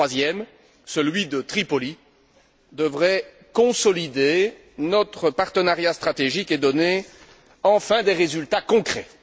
Et le troisième, celui de Tripoli, devrait consolider notre partenariat stratégique et donner enfin des résultats concrets.